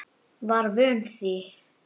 Var vön því.